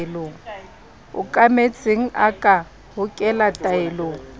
okametseng a ka hokela taelong